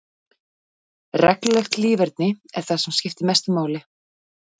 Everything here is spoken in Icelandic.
Reglulegt líferni er það sem skiptir mestu máli.